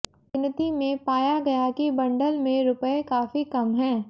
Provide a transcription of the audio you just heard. गिनती में पाया गया कि बंडल में रुपये काफी कम हैं